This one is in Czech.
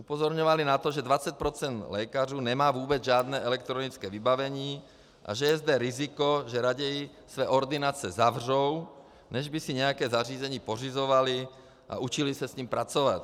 Upozorňovali na to, že 20 % lékařů nemá vůbec žádné elektronické vybavení a že je zde riziko, že raději se ordinace zavřou, než by si nějaké zařízení pořizovali a učili se s ním pracovat.